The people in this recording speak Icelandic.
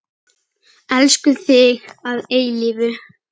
Elskum þig að eilífu.